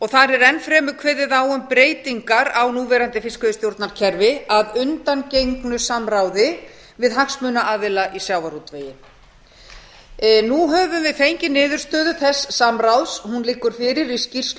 þar er enn fremur kveðið á um breytingar á núverandi fiskveiðistjórnarkerfi að undangengnu samráði við hagsmunaaðila í sjávarútvegi nú höfum við fengið niðurstöðu þess samráðs hún liggur fyrir í skýrslu